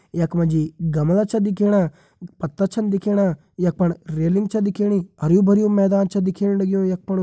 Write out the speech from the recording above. यख मा जी गमला छ दिखेणा पत्ता छन दिखेणा यख फण रेलिंग छ दिखेणी हरयूं भरयूं मैदान छ दिखेण लग्युं यख फणु।